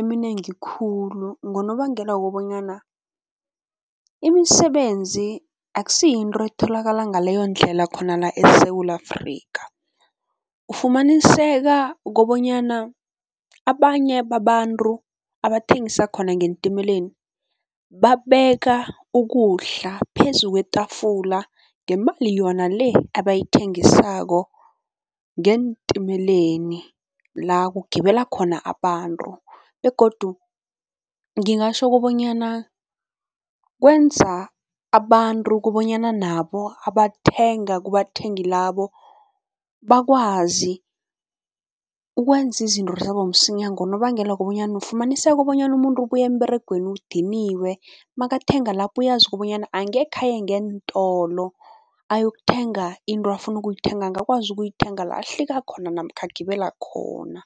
eminengi khulu ngonobangela wokobanyana imisebenzi akusiyinto etholakala ngaleyondlela khona la eSewula Afrika. Ufumaniseka kobonyana abanye babantu abathengisa khona ngeentimeleni babeka ukudla phezu kwetafula ngemali yona le abayithengisako ngeentimeleni la kugibela khona abantu begodu ngingatjho kobanyana kwenza abantu kobanyana nabo abathenga kubathengi labo, bakwazi ukwenza izinto zabo msinya ngonobangela wokobanyana ufumaniseka bonyana umuntu ubuya emberegweni udiniwe, makathenga lapho uyazi kobanyana angekhe aye ngeentolo, ayokuthenga into afuna ukuyithenga, angakwazi ukuyithenga la ahlika khona namkha agibela khona.